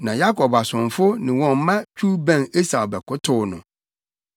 Na Yakob asomfo ne wɔn mma twiw bɛn Esau bɛkotow no.